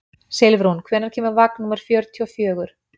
Silfrún, hvenær kemur vagn númer fjörutíu og fjögur?